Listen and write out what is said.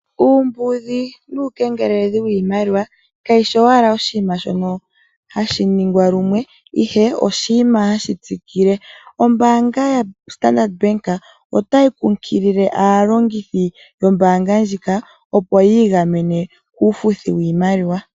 Uumbudhi nuukengeleledhi wiimaliwa ka shi shi wala oshi nima hashi ningwa lumwe, ihe oshinima hashi tsikile. Ombaanga yaStandard bank ota yi kunkilile aantu aalongi yoombanga ndjika opo yiigamene kuufuthi wiimaliwa